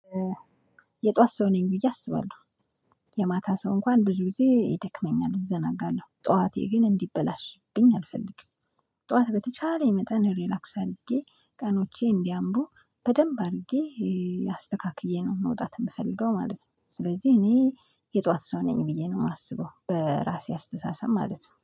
የጧት ሰው ነኝ ብዬ አስባለሁ የማታ ሰው እንኳን ብዙ ጊዜ ይደክመኛል እዘናጋለሁ ጠዋቴ ግን እንዲበላሽብኝ አልፈልግም። ጠዋት በተቻለ መጠን ሪላክስ አድርጌ ቀኖቼ እንዲያምሩ በደንብ አድርጌ አስተካክዬ ነው መውጣት የምፈልገው ማለት ነው። ስለዚህ እኔ የጧት ሰው ነኝ ብዬ ነው የማስበው በራሴ አስተሳሰብ ማለት ነው